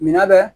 Minan bɛ